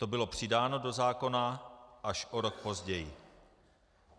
To bylo přidáno do zákona až o rok později.